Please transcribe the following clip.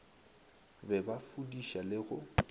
be ba fudiša le go